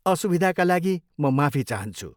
असुविधाका लागि म माफी चाहन्छु।